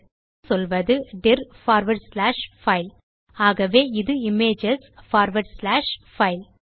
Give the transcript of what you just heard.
ஆகவே சொல்வது dir forward slash file ஆகவே இது இமேஜஸ் பார்வார்ட் ஸ்லாஷ் பைல்